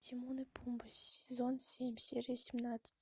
тимон и пумба сезон семь серия семнадцать